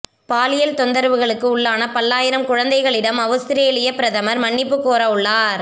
பாலியல் தொந்தரவுகளுக்கு உள்ளான பல்லாயிரம் குழந்தைகளிடம் அவுஸ்திரேலியப் பிரதமர் மன்னிப்பு கோரவுள்ளார்